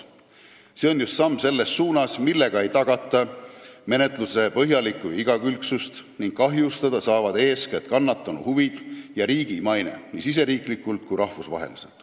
See on just samm selles suunas, millega ei tagata menetluse põhjalikku igakülgsust ning kahjustada saavad eeskätt kannatanu huvid ja riigi maine, nii riigisiseselt kui ka rahvusvaheliselt.